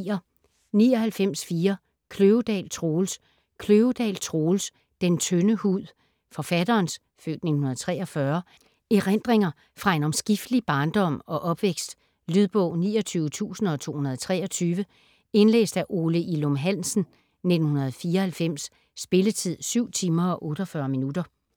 99.4 Kløvedal, Troels Kløvedal, Troels: Den tynde hud Forfatterens (f. 1943) erindringer fra en omskiftelig barndom og opvækst. Lydbog 29223 Indlæst af Ole Ilum Hansen, 1994. Spilletid: 7 timer, 48 minutter.